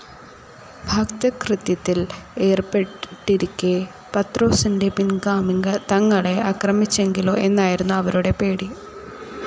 ഭക്തകൃത്യത്തിൽ ഏർപ്പെട്ടിരിക്കെ പത്രോസിന്റെ പിൻഗാമി തങ്ങളെ ആക്രമിച്ചെങ്കിലോ എന്നായിരുന്നു അവരുടെ പേടി.